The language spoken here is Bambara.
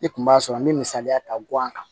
Ne kun b'a sɔrɔ n be misaliya ta guwan kan